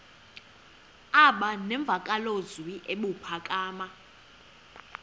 aba nemvakalozwi ebuphakama